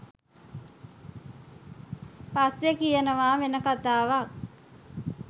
පස්සෙ කියනවා වෙන කතාවක්